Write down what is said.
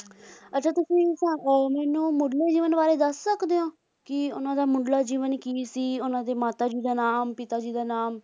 ਅੱਛਾ ਤੁਸੀਂ ਮੈਨੂੰ ਮੁਢਲੇ ਜੀਵਨ ਬਾਰੇ ਦੱਸ ਸਕਦੇ ਹੋਂ ਕਿ ਉਨ੍ਹਾਂ ਦਾ ਮੁਢਲਾ ਜੀਵਨ ਕੀ ਸੀ ਉਨ੍ਹਾਂ ਦੇ ਮਾਤਾ ਜੀ ਦਾ ਨਾਮ ਪਿਤਾ ਜੀ ਦਾ ਨਾਮ